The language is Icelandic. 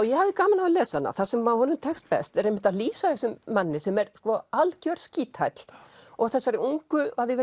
ég hafði gaman af að lesa hana það sem honum tekst best er einmitt að lýsa þessum manni sem er sko algjör skíthæll og þessari ungu að því